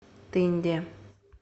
тынде